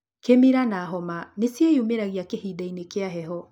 Kĩmira na homa nĩciĩyumĩragia kĩhinda inĩ kĩa heho